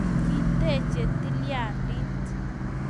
Kiteche tilyandit